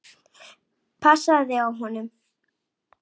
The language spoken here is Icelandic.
Passaðu þig á honum.